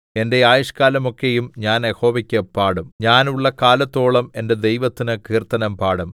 എന്റെ ആയുഷ്ക്കാലമൊക്കെയും ഞാൻ യഹോവയ്ക്കു പാടും ഞാൻ ഉള്ള കാലത്തോളം എന്റെ ദൈവത്തിന് കീർത്തനം പാടും